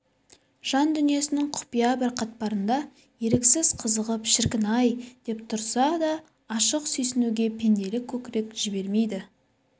жан дүниесінің құпия бір қатпарында еріксіз қызығып шіркін-ай деп тұрса да ашық сүйсінуге пенделік көкірек жібермейді